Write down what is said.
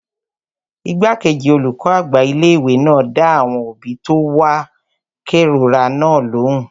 Igbákejì olùkọ́ àgbà ilé-ìwé náà dá àwọn òbí tó wá kérora náà lóhùn